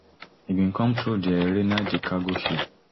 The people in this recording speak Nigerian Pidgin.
e bin come through di rainer d cargo ship